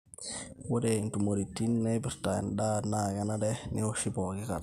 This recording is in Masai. ore intumoritin naipirta endaa naa kenare neoshi pooki kata